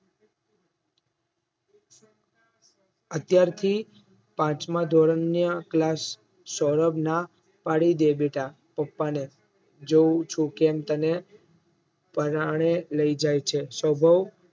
અત્યારથી પાંચમા ધોરણના class સૌરભના ના પાડી દે બેટા પપ્પાને જોવ છું કેમ તને પરાણે લઈ જાય છે સૌરભ